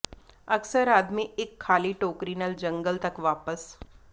ਅਕਸਰ ਆਦਮੀ ਇੱਕ ਖਾਲੀ ਟੋਕਰੀ ਨਾਲ ਜੰਗਲ ਤੱਕ ਵਾਪਸ